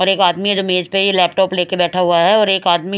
और एक आदमी है जो मेज पे ये लैपटॉप लेके बैठा हुआ है और एक आदमी --